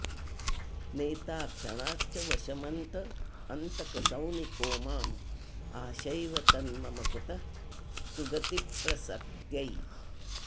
नेता क्षणाच्च वशमन्तकसौनिको मां आशैव तन्मम कुतः सुगतिप्रसक्त्यै